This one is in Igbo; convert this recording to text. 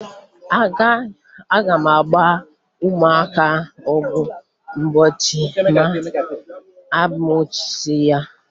A ga-agba ụmụaka ọgwụ mgbochi ma a mụsịa ya.